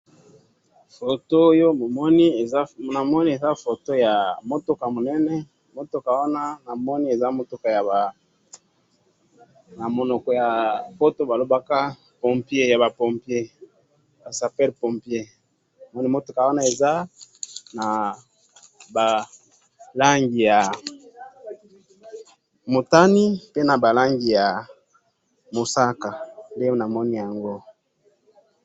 photo oyo namoni eza photo ya mutuka munene mutu wana eza mutu wa na munoko ya poto balobaka yaba pompier ba sapeur pompier mutuka wana eza na ba rangi ya mutani tena na rangi na musaka